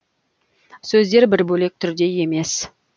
сөздер бір бөлек түрде емес